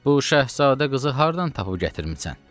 Bu şahzadə qızı hardan tapıb gətirmisən?